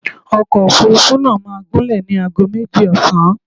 Ọkọ̀ Òfurufú náà máa gúnlẹ̀ ní ago méjì ọ̀sán.